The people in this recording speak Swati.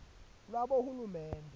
lwabohulumende